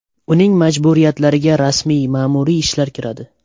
Uning majburiyatlariga rasmiy ma’muriy ishlar kiradi.